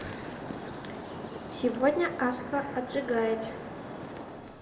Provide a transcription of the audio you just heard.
сегодня аска отжигает